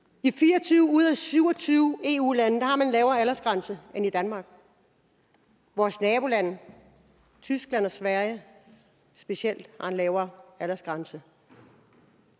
i fire og tyve ud af syv og tyve eu lande har man en lavere aldersgrænse end i danmark vores nabolande tyskland og sverige specielt har en lavere aldersgrænse